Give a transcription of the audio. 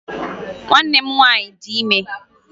Nwanne m nwaanyị dị ime